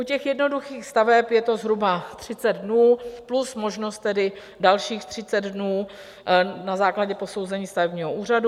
U těch jednoduchých staveb je to zhruba 30 dnů plus možnost tedy dalších 30 dnů na základě posouzení stavebního úřadu.